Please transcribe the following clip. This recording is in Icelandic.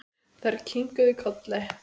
Þær kinkuðu kolli.